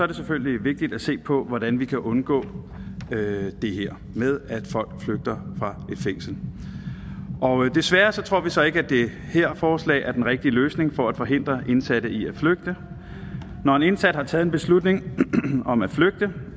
det selvfølgelig vigtigt at se på hvordan vi kan undgå det her med at folk flygter fra et fængsel desværre tror vi så ikke at det her forslag er den rigtige løsning for at forhindre indsatte i at flygte når en indsat har taget en beslutning om at flygte